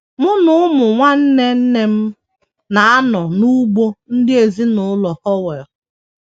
Mụ na ụmụ nwanne nne m na - anọ n’ugbo ndị ezinụlọ Howell.